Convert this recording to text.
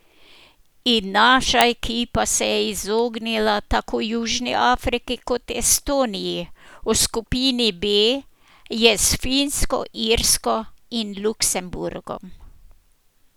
In naša ekipa se je izognila tako Južni Afriki kot Estoniji, v skupini B je s Finsko, Irsko in Luksemburgom.